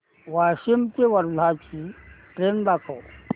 वाशिम ते वर्धा ची ट्रेन दाखव